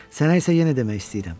Sənə isə yenə demək istəyirəm.